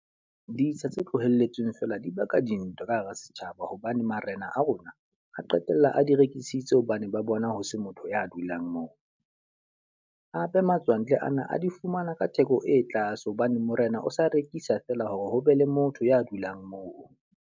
Ditsha tse tlohelletsweng feela di baka dintwa ka hara setjhaba. Hobane Marena a rona a qetella a di rekisitse hobane ba bona ho se motho ya dulang moo. Hape matswantle ana a di fumana ka theko e tlase hobane Morena o se rekisa feela hore ho be le motho ya dulang moo.